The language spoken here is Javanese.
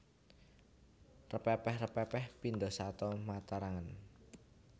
Repepeh repepeh pindha sata matarangan